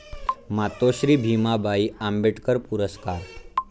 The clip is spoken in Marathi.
मातोश्री भीमाबाई आंबेडकर पुरस्कार